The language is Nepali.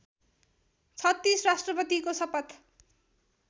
३६ राष्ट्रपतिको सपथ